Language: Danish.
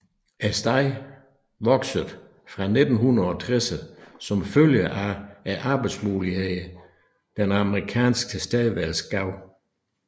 Stedet voksede fra 1960erne som følge af arbejdsmulighederne den amerikanske tilstedeværelsen gav